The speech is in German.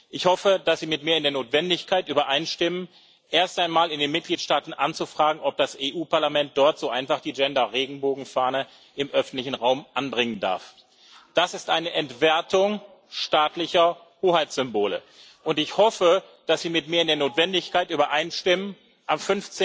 Ich hoffe, dass Sie mit mir in der Notwendigkeit übereinstimmen, erst einmal in den Mitgliedstaaten anzufragen, ob das Europäische Parlament dort so einfach die Gender-Regenbogen-Fahne im öffentlichen Raum anbringen darf. Das ist eine Entwertung staatlicher Hoheitssymbole. Und ich hoffe, dass Sie mir in der Notwendigkeit übereinstimmen, am